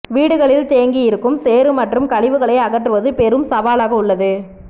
வீடுகளில் தேங்கியிருக்கும் சேறு மற்றும் கழிவுகளை அகற்றுவது பெரும் சவாலாக உள்ளது